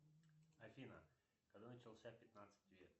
афина когда начался пятнадцатый век